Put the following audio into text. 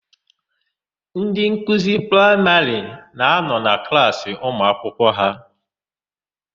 Ndị nkuzi praịmarị na-anọ na klaasị ụmụakwụkwọ ha.